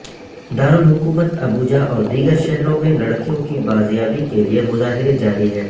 دارالحکومت ابوجا اور دیگر شہروں میں لڑکیوں کی بازیابی کے لیے مظاہرے جاری ہیں